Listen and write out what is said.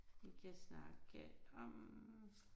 Vi kan snakke om